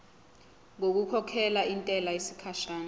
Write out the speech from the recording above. ngokukhokhela intela yesikhashana